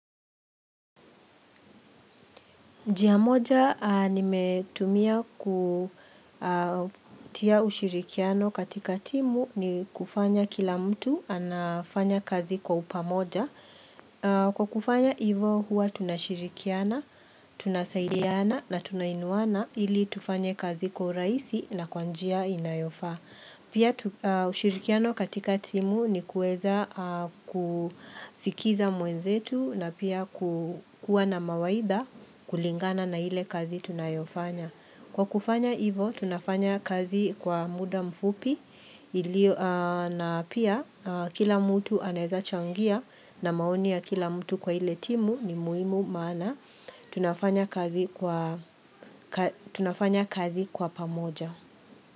Njia moja nimetumia kutia ushirikiano katika timu ni kufanya kila mtu anafanya kazi kwa upamoja. Kwa kufanya hivo huwa tunashirikiana, tunasaidiana na tunainuwana ili tufanye kazi kwa urahisi na kwa njia inayofaa. Pia ushirikiano katika timu ni kuweza kusikiza mwenzetu na pia kukua na mawaidha kulingana na ile kazi tunayofanya. Kwa kufanya hivo, tunafanya kazi kwa muda mfupi na pia kila mtu anaweza changia na maoni ya kila mtu kwa ile timu ni muhimu maana. Tunafanya kazi kwa pamoja.